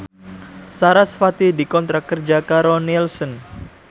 sarasvati dikontrak kerja karo Nielsen